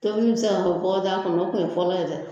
Tobili bi se ka kɛ bɔgɔdaga kɔnɔ o kun ye fɔlɔ ye dɛ